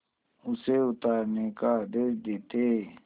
उसे उतारने का आदेश देते